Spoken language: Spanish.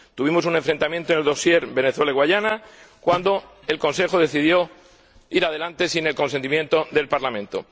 Tuvimos un enfrentamiento en el dosier Venezuela Guayana, cuando el Consejo decidió seguir adelante sin el consentimiento del Parlamento.